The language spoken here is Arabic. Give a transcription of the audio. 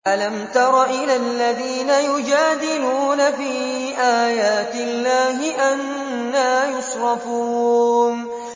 أَلَمْ تَرَ إِلَى الَّذِينَ يُجَادِلُونَ فِي آيَاتِ اللَّهِ أَنَّىٰ يُصْرَفُونَ